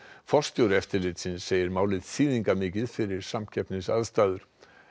forstjóri eftirlitsins segir málið þýðingarmikið fyrir samkeppnisaðstæður